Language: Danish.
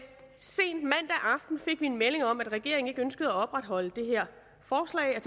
en melding om at regeringen ikke ønskede at opretholde det her forslag jeg